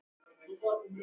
Og það var fleira.